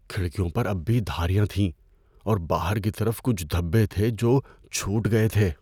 کھڑکیوں پر اب بھی دھاریاں تھیں، اور باہر کی طرف کچھ دھبے تھے جو چھوٹ گئے تھے۔